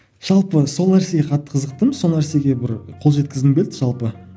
жалпы сол нәрсеге қатты қызықтым сол нәрсеге бір қол жеткізгім келді жалпы